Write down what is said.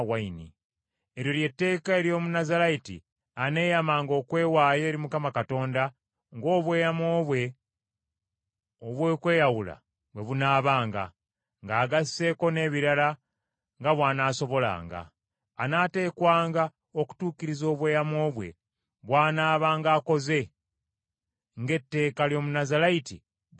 “Eryo lye tteeka ery’Omunnazaalayiti aneeyamanga okwewaayo eri Mukama Katonda ng’obweyamo bwe obw’okweyawula bwe bunaabanga, ng’agasseeko n’ebirala nga bw’anaasobolanga. Anaateekwanga okutuukiriza obweyamo bwe bwanaabanga akoze, ng’etteeka ly’Omunnazaalayiti bwe liragira.”